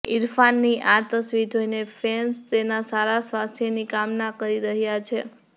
ઈરફાનની આ તસવીર જોઈને ફેન્સ તેના સારા સ્વાસ્થ્યની કામના કરી રહ્યા છે